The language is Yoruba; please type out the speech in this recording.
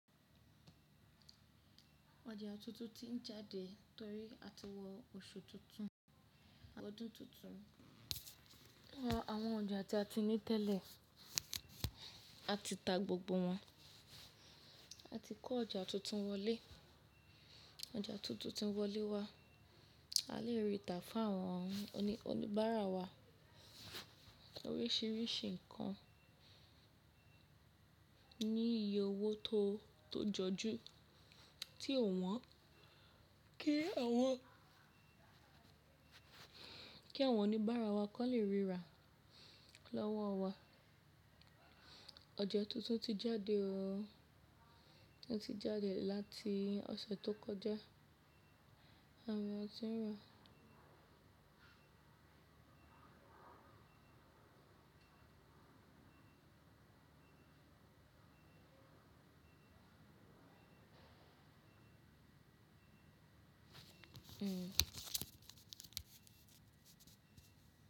Ọjà tuntun ti ń jáde torí a ti wọ oṣù tuntun, ọdún tuntun. Àwọn ọjà tí a ní tẹ́lẹ̀ a ti ta gbogbo wọn, a ti kọ́ ọjà tuntun wọlé. Ọjà tuntun ti wọlé wá, a lè rìtà fún àwọn oníbàárà wa oríṣìíríṣìí nǹkan ní iye owó tó jọjú, tí ò wọ́n, kí àwọn oníbàárà wa kó lè rí ra lọ́wọ́ wa. Ọjà tuntun ti jáde ọ, o ti jáde láti ọ̀sẹ̀ tó kọjá, àwọn eyan tí ń rà.